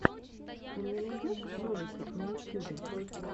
ты мне найдешь ролики на ютьюбе